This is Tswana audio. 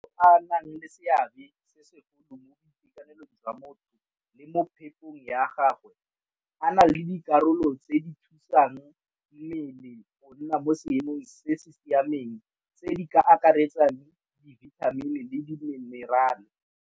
A nang le seabe se segolo mo boitekanelong jwa motho le mo phepong ya gagwe a na le dikarolo tse di thusang mmele go nna mo seemong se se siameng tse di ka akaretsang dibithamini le diminerale.